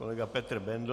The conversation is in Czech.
Kolega Petr Bendl.